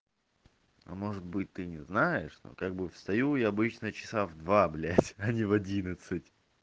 а может быть ты не знаешь ну как бы встаю я обычно часа в два блядь а не в одиннадцать